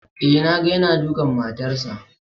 Eh na ga yana dukan matarsa